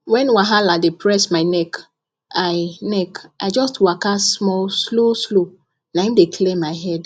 when wahala dey press my neck i neck i just waka small slow slow na im dey clear my head